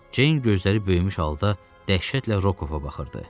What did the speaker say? Ceyn gözləri böyümüş halda dəhşətlə Rokova baxırdı.